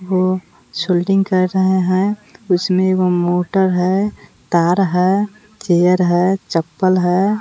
वो सोल्डिंग कर रहे हैं उसमें एगो मोटर है तार है चेयर है चप्पल है।